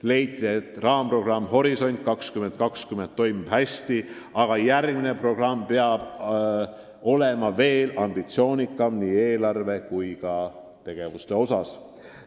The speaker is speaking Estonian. Leiti, et raamprogramm Horisont 2020 toimib hästi, aga järgmine programm peab olema veel ambitsioonikam nii eelarve kui ka tegevuste osas.